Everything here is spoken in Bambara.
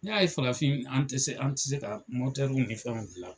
N y'a ye farafin an ti se an ti se ka nin fɛnw gilan la